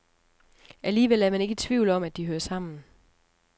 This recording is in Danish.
Alligevel er man ikke i tvivl om, at de hører sammen.